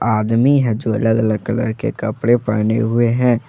आदमी है जो अलग अलग कलर के कपड़े पहने हुए हैं।